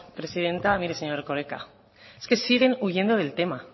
presidenta mire señor erkoreka es que siguen huyendo del tema